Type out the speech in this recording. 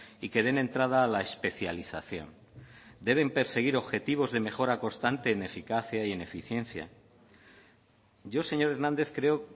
y que den entrada a la especialización deben perseguir objetivos de mejora constante en eficacia y en eficiencia yo señor hernández creo